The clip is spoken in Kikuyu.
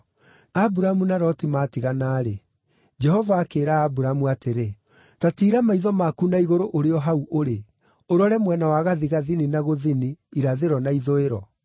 Aburamu na Loti maatigana-rĩ, Jehova akĩĩra Aburamu atĩrĩ, “Ta tiira maitho maku na igũrũ ũrĩ o hau ũrĩ, ũrore mwena wa gathigathini na gũthini, irathĩro na ithũĩro.